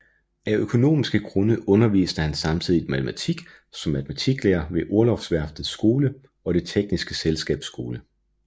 Af økonomiske grunde underviste han samtidigt i matematik som matematiklærer ved Orlogsværftets Skole og Det tekniske Selskabs Skole